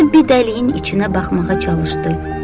Robbi dəliyin içinə baxmağa çalışdı.